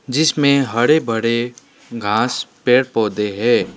जिसमें हड़े भड़े घास पेड़ पौधे हैं।